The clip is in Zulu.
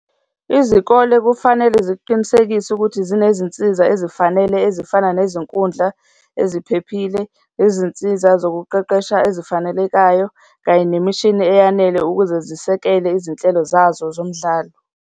Izikole kufanele ziqinisekise ukuthi zinezinsiza ezifanele ezifana nezinkundla eziphephile, izinsiza zokuqeqesha ezifanelekayo, kanye nemishini eyanele ukuze zisekela izinhlelo zazo zomdlalo.